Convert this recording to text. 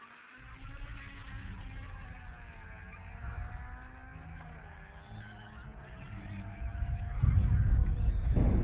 ak yeit yotok komamagaat komanda ak ki age tuguul angot susweek.